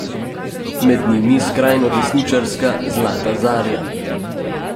Med njimi skrajnodesničarska Zlata zarja.